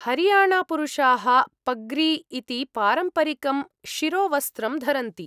हरियाणापुरुषाः पग्री इति पारम्परिकं शिरोवस्त्रं धरन्ति।